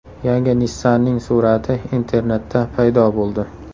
Yangi Nissan’ning surati internetda paydo bo‘ldi.